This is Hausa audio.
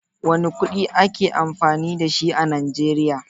Wane kudi ake amfani da shi a Najeriya?